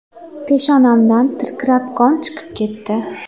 Peshonamdan tirqirab qon chiqib ketdi.